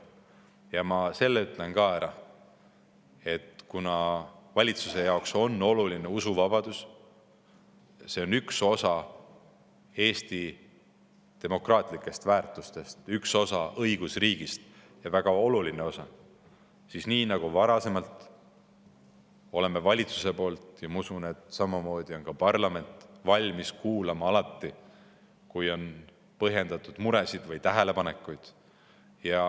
Ja ma ütlen ka ära selle, et kuna valitsuse jaoks on oluline usuvabadus, see on üks osa Eesti demokraatlikest väärtustest, üks osa õigusriigist, väga oluline osa, siis nii nagu varemgi, oleme valitsuses – ja ma usun, et samamoodi parlamendis – valmis kuulama alati, kui on põhjendatud muresid või tähelepanekuid.